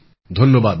ধন্যবাদ ভাই